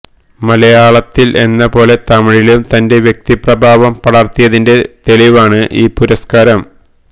മലയാളത്തിൽ എന്ന പോലെ തമിഴിലും തന്റെ വ്യക്തിപ്രഭാവം പടർത്തിയതിന്റെ തെളിവാണ് ഈ പുരസ്കാരം